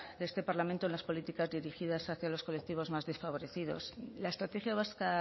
de este parlamento en las políticas dirigidas hacia los colectivos más desfavorecidos la estrategia vasca